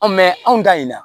An mɛ anw da in na